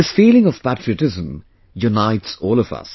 This feeling of patriotism unites all of us